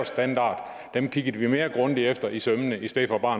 standard kiggede man mere grundigt efter i sømmene i stedet for bare